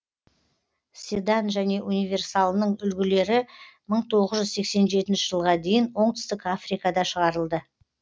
седан және универсалының үлгілері мың тоғыз жүз сексен жетінші жылға дейін оңтүстік африкада шығарылды